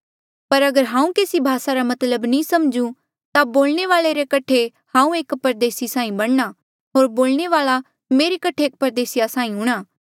पर अगर हांऊँ केसी भासा रा मतलब नी समझूं ता बोलणे वाले रे कठे हांऊँ एक परदेसी साहीं बणना होर बोलणे वाल्आ मेरे कठे एक परदेसीया साहीं हूंणा